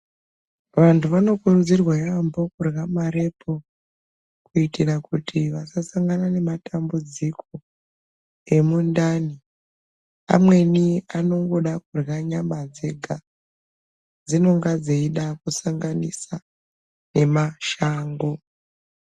Vantu vanokurudzirwa yaambo kurya marepu. Kuitira kuti vasasangana nematambudziko emundani amweni anongoda kurya nyama dzega, dzinonga dzeida kusanganisa nemashango.